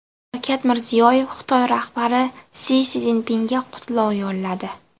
Shavkat Mirziyoyev Xitoy rahbari Si Szinpinga qutlov yo‘lladi.